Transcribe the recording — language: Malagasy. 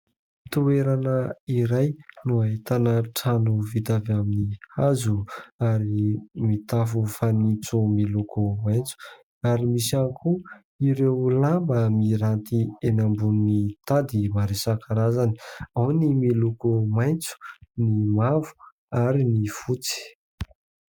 Toerana iray no ahitana trano vita avy amin'ny hazo ary mitafo fanitso miloko maitso ary misy ihany koa ireo lamba miranty eny ambonin'ny tady maro isan-karazany, ao ny miloko maitso, ny mavo ary ny fotsy.